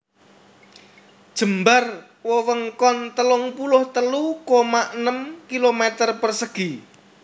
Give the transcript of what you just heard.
Jembar wewengkon telung puluh telu koma enem km persegi